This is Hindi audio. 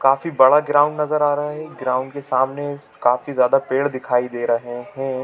काफी बड़ा ग्राउंड नज़र आ रहा है ग्राउंड के सामने काफी ज्यादा पेड़ दिखाई दे रहे है।